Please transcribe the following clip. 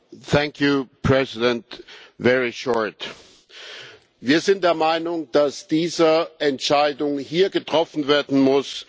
Wir sind der Meinung, dass diese Entscheidung hier getroffen werden muss, weil sie für unser Gemeinwesen von großer Bedeutung ist.